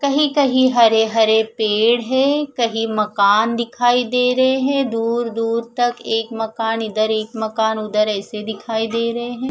कहीं-कहीं हरे-हरे पेड़ है कहीं मकान दिखाई दे रहे है दूर-दूर तक एक मकान इधर एक मकान उधर ऐसे दिखाई दे रहे हैं।